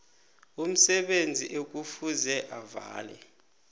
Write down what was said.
umsebenzi ekufuze avale